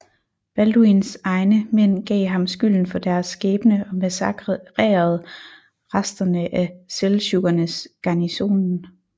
Balduins egne mænd gav ham skylden for deres skæbne og massakrerede resterne af seldsjukkernes garnisonen